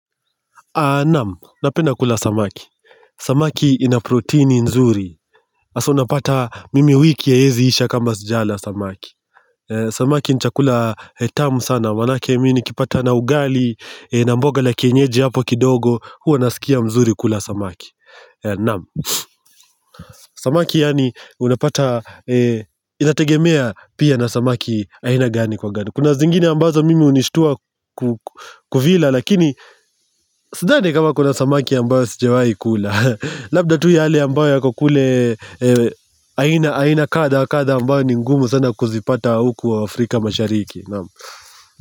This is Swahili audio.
Naam, napenda kula samaki. Samaki ina protini nzuri. Asa unapata mimi wiki haiezi isha kama sijala samaki. Samaki nchakula hetamu sana, manake minikipata na ugali, namboga la kienyeji hapo kidogo, huwa naskia mzuri kula samaki. Naam. Samaki yani unapata Inategemea pia na samaki aina gani kwa gani Kuna zingine ambazo mimi unishtua ku Kuvila lakini Sidhani kama kuna samaki ambayo sijawai kula Labda tu yale ambayo yako kule aina aina kadha wa kadha ambayo ni ngumu sana kuzipata huku Afrika mashariki nam.